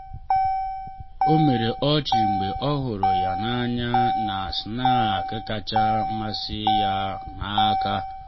ọ mere ọchị mgbe ọ hụrụ ya n’anya na snack kacha masị ya n’aka.